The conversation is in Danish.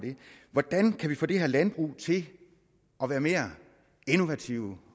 hvordan kan vi få det her landbrug til at være mere innovativt